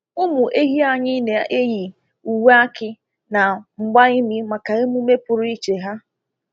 Ụmụ ehi anyị na-eyi uwe akị na mgba imi maka emume pụrụ iche ha